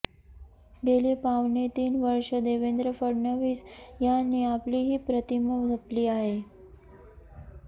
गेली पावणे तीन वर्षं देवेंद्र फडणवीस यांनी आपली ही प्रतिमा जपली आहे